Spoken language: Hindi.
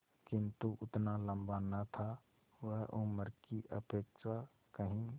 किंतु उतना लंबा न था वह उम्र की अपेक्षा कहीं